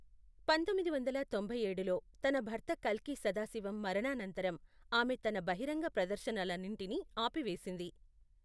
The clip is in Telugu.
పంతొమ్మిది వందల తొంభై ఏడులో, తన భర్త కల్కి సదాశివం మరణానంతరం ఆమె తన బహిరంగ ప్రదర్శనలన్నింటినీ ఆపివేసింది.